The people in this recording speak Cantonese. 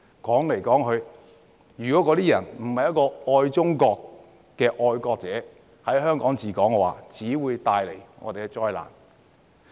說來說去，如果不是愛中國的"愛國者治港"，只會帶來災難。